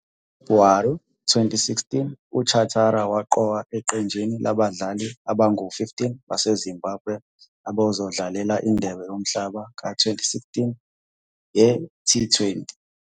NgoFebhuwari 2016, uChatara waqokwa eqenjini labadlali abangu-15 baseZimbabwe abazodlalela iNdebe yoMhlaba ka-2016 ye-T20.